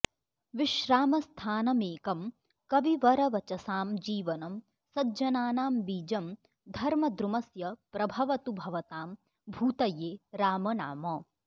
विश्रामस्थानमेकं कविवरवचसां जीवनं सज्जनानां बीजं धर्मद्रुमस्य प्रभवतु भवतां भूतये रामनाम